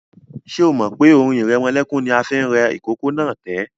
Ṣé o mọ̀ pé orin ìrẹmọlẹ́kún ni mo fi rẹ ìkókó náà tẹ́?